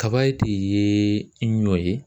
Kaba de ye ɲɔ ye